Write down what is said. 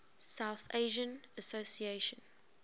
south asian association